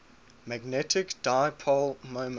magnetic dipole moment